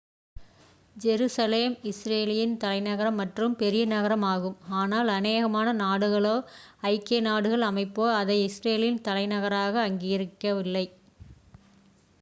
Jerusalem இஸ்ரேலின் தலைநகரம் மற்றும் பெரிய நகரம் ஆகும் ஆனால் அநேகமான நாடுகளோ ஐக்கிய நாடுகள் அமைப்போ அதை இஸ்ரேலின் தலைநகராக அங்கீகரிக்கவில்லை